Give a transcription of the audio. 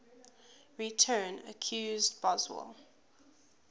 return accused boswell